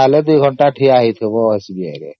ନହେଲେ ୨ଘଣ୍ଟା ଠିଆ ହୋଇ ଥିବ SBI ରେ